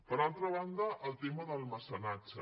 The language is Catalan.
per altra banda el tema del mecenatge